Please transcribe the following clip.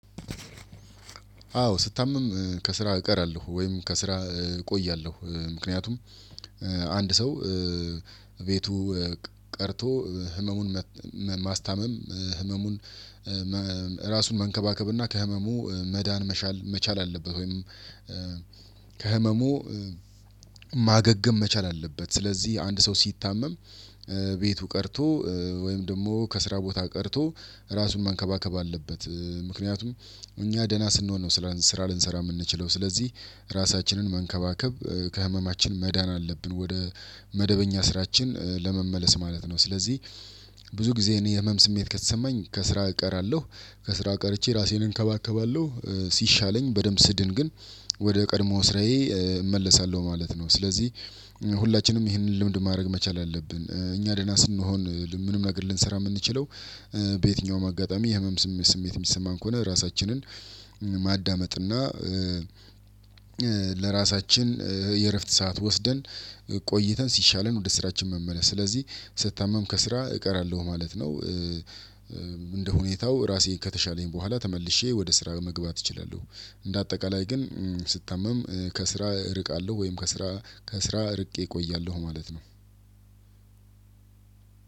አዎ ስታመም ከስራ እቀራለሁ ወይም ከስራ እቆያለሁ ምክንያቱም አንድ ሰው ቤቱ ቀርቶ ህመሙን ማስታመም ህመሙን ራሱን መንከባከብ እና ከህመሙ መዳን መቻል መቻል አለበት ወይም ከህመሙ ማገገም መቻል አለበት። ስለዚህ አንድ ሰው ሲታመም ቤቱ ቀርቶ ወይም ደግሞ ከስራ ቦታ ቀርቶ ራሱን ማንከባከብ አለበት። ምክንያቱም እኛ ደህና ስንሆን ነው ስራ ልንሰራ የምንችለው። ስለዚህ ራሳችንን መንከባከብ ከህመማችን መዳን አለብን ወደ መደበኛ ስራችን ለመመለስ ማለት ነው። ስለዚህ ብዙ ጊዜ እኔ የህመም ስሜት ከተሰማኝ ከስራ እቀራለሁ። ከስራ ቀርቼ ራሴን እንከባከባለሁ። ሲሻለኝ በደንብ ስድን ግን ወደ ቀድሞ ስራዬ እመለሳለሁ ማለት ነው። ስለዚህ ሁላችንም ይህንን ልምድ ማድረግ መቻል አለብን። እኛ ደህና ስንሆን ምንም ነገር ልንሰራ የምንችለው በየትኛውም አጋጣሚ የህመም ስሜት ስሜት የሚሰማን ከሆነ ራሳችንን ማዳመጥ እና ለራሳችን የእረፍት ሰዓት ወስደን ቆይተን ሲሻለን ወደ ስራችን መመለስ። ስለዚህ ስታመም ከስራ እቀራለሁ ማለት ነው። እንደ ሁኔታው ራሴ ከተሻለኝ በኋላ ተመልሼ ወደ ስራ መግባት እችላለሁ። እንደ አጠቃላይ ግን ስታመም ከስራ እርቃለሁ ወይም ከስራ ከስራ እርቄ እቆያለሁ ማለት ነው።